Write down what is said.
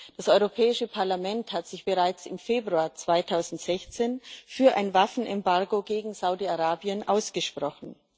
Das Europäische Parlament hat sich bereits im Februar 2016 für ein Waffenembargo gegen Saudi Arabien ausgesprochen.